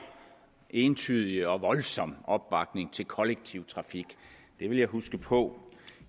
entydig og voldsom opbakning til kollektiv trafik det vil jeg huske på